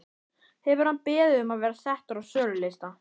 Hefur hann beðið um að vera settur á sölulista?